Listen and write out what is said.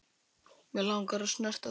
Mig langar að snerta þau.